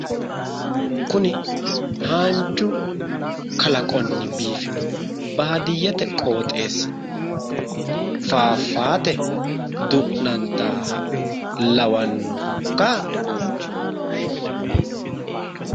Kuni haanju kalaqonni biifino baadiyyete qooxeessi faafaate du'nantaaha lawannohokka?